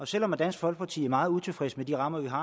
selv om dansk folkeparti er meget utilfreds med de rammer vi har